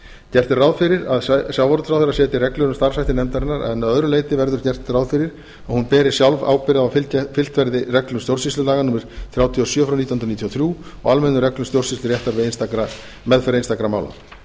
gert er ráð fyrir að sjávarútvegsráðherra setji reglur um starfshætti nefndarinnar en að öðru leyti verður gert ráð fyrir að hún beri sjálf ábyrgð á að fylgt verði reglum stjórnsýslulaga númer þrjátíu og sjö nítján hundruð níutíu og þrjú og almennum reglum stjórnsýsluréttar við meðferð einstakra